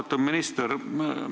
Austatud minister!